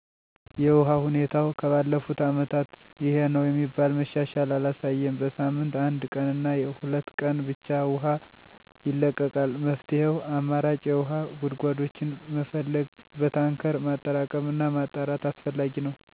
የውሃ ሁኔታው ከባለፉት አመታት ይሄነው የሚባል መሻሻል አላሳየም። በሳምንት አንድ ቀንና ሁለት ቀን ብቻ ውሃ ይለቀቃል። መፍትሄው አማራጭ የውሃ ጉድጓዶችን መፈለግ፣ በታንከር ማጠራቀምና ማጣራት አስፈላጊ ነው።